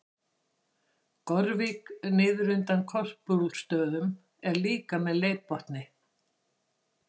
Gorvík niður undan Korpúlfsstöðum er líka með leirbotni.